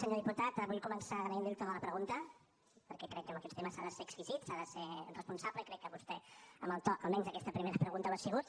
senyor diputat vull començar agraint li el to de la pregunta perquè crec que en aquests temes s’ha de ser exquisit s’ha de ser responsable i crec que vostè amb el to almenys en aquesta primera pregunta ho ha sigut